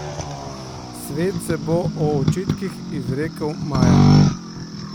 Svet se bo o očitkih izrekel maja.